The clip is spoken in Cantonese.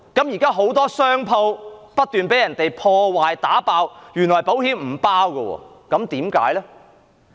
現在很多商鋪不斷被人損毀和破壞，原來保險並不承保。